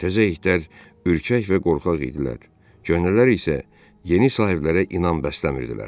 Təzə itlər ürkək və qorxaq idilər, köhnələr isə yeni sahiblərə inam bəsləmirdilər.